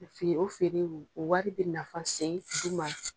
Feere o feerew, o wari bɛ nafa sen i ma.